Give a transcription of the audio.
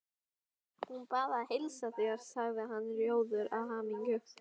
Hún bað að heilsa þér sagði hann rjóður af hamingju.